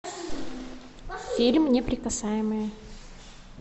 фильм неприкасаемые